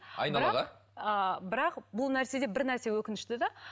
бірақ бұл нәрседе бір нәрсе өкінішті де